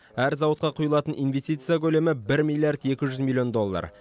әр зауытқа құйылатын инвестиция көлемі бір миллиард екі жүз елу миллион доллар